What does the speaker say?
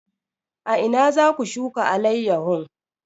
A ina za ku shuka alayyahun?